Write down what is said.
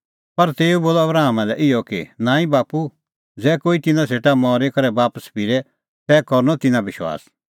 पर तेऊ बोलअ आबरामा लै इहअ कि नांईं बाप्पू ज़ै कोई तिन्नां सेटा मरी करै बापस फिरे तै करनअ तिन्नां विश्वास